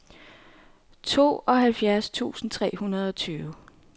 tooghalvfjerds tusind tre hundrede og tyve